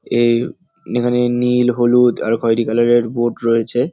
এই এখানে নীল হলুদ আর খয়রি কালার -এর বোট রয়েছে।